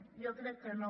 jo crec que no